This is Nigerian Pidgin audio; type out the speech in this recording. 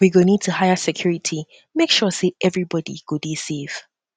we go need to hire security to hire security make sure sey everybodi go dey safe